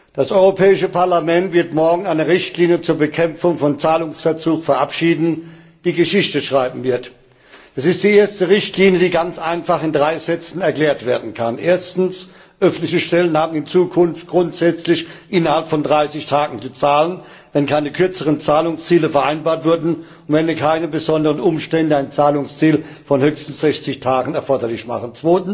Das Europäische Parlament wird morgen eine Richtlinie zur Bekämpfung von Zahlungsverzug verabschieden, die Geschichte schreiben wird. Es ist die erste Richtlinie, die ganz einfach in drei Sätzen erklärt werden kann Erstens, öffentliche Stellen haben in Zukunft grundsätzlich innerhalb von 30 Tagen zu zahlen, wenn keine kürzeren Zahlungsziele vereinbart wurden und wenn keine besonderen Umstände ein Zahlungsziel von höchstens 60 Tagen erforderlich machen.